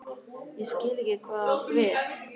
Ég skil ekki hvað þú átt við?